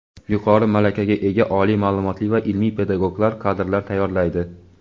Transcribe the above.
yuqori malakaga ega oliy maʼlumotli va ilmiy-pedagog kadrlar tayyorlaydi.